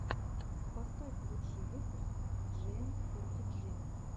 поставь лучший выпуск джиэмфортиджи